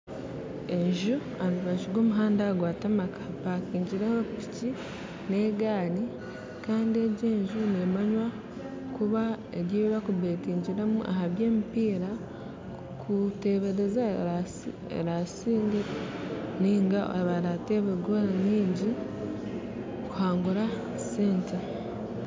Enju aharubaju rwa omuhanda gwatamaka hapakingireho piki na egaari kandi egi enju nemanywa kuba eri eyibakubetingiramu kutebereza ahabya emipiira neha erasiingye, ninga abaratebe goora nyingi kuhangura sente.